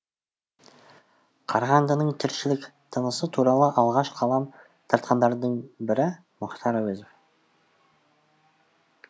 қарағандының тіршілік тынысы туралы алғаш қалам тартқандардың бірі мұхтар әуезов